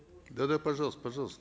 да да пожалуйста пожалуйста